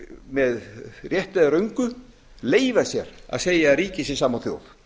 með réttu eða röngu leyfa sér að segja að ríki sé sama og þjóð